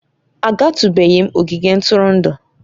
Agatụbeghị m ogige ntụrụndụ'